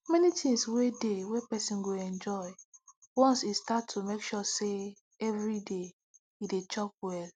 many things dey wey person go enjoy once e start to make sure say every day e dey chop well